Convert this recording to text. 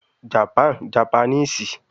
Japan- Japanese